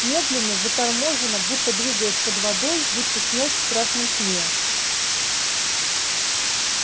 медленно заторможенно будто двигаясь под водой будто снясь в страшном сне